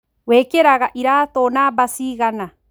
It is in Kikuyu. Wĩkĩraga iratũnamba cigana?